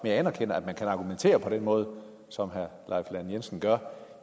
jeg anerkender at man kan argumentere på den måde som herre leif lahn jensen gør